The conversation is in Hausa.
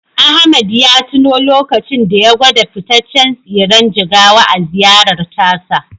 Ahmed ya tuno lokacin da ya gwada fitaccen tsiren jigawa a ziyarar tasa.